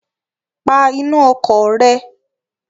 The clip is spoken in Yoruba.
Pa iná ọkọ̀ rẹ!